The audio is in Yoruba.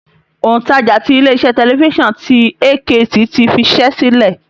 Òǹtajà tí ilé iṣẹ́ tẹlifísàn ti AKT ti fiṣẹ́ sílẹ̀